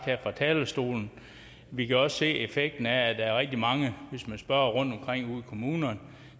her fra talerstolen vi kan også se effekten af at der er rigtig mange hvis man spørger rundtomkring ude i kommunerne